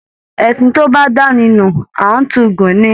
Ẹṣin tó bá dáni nu, a n tún gùn ní.